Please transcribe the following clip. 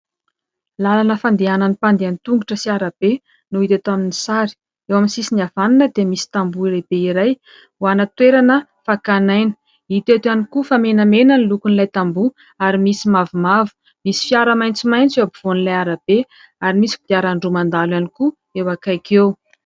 Lalana fandehanan'ny mpandeha an-tongotra sy arabe no hita eto amin'ny sary : eo amin'ny sisiny havanana dia misy tamboho lehibe iray ho ana toerana fakana aina, hita eto ihany koa fa menamena ny lokon'ilay tamboho ary misy mavomavo, misy fiara maitsomaitso eo am-povoan'ilay arabe ary misy kodiaran-droa mandalo ihany koa eo akaiky eo.